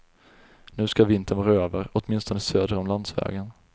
Nu ska vintern vara över, åtminstone söder om landsvägen.